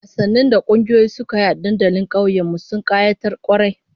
Wasannin da kungiyoyi suka yi a dandalin tsakiyar kauyen mu, sun kayatar kwarai